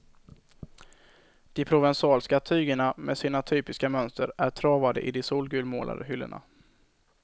De provensalska tygerna med sina typiska mönster är travade i de solgulmålade hyllorna.